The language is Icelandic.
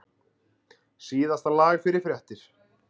Síðasta lag fyrir fréttir.